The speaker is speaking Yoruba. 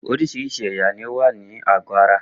Oríṣiríṣi ẹ̀yà ni ó wà ní àgọ́ ara